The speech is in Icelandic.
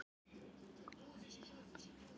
Og hvað einkaaðilar standa þá að þessu ráði?